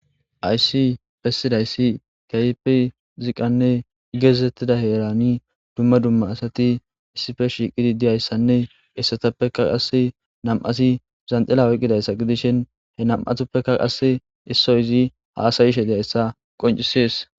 Hayssi bessidayssi kayipi ziqanne geeezettida heerani dumma dumma asati issipe shiiqidi diyayssanne essatappeka qasse nam7asi zanxila weqqidayssa gidishin he nam'atappeka qasse issoy izi haasayishe diyayssa qoncisees.